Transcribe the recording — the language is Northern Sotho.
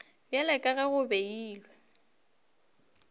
bjalo ka ge go beilwe